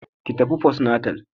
Ki tafi "postnatal"?